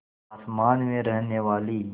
आसमान में रहने वाली